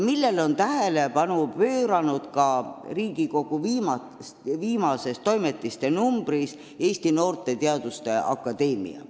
Nendele on Riigikogu Toimetiste viimases numbris tähelepanu juhtinud ka Eesti Noorte Teaduste Akadeemia.